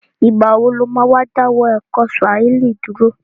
Ìgbà wo lo má dáwọ́ ẹ̀kọ́ Swahili dúró?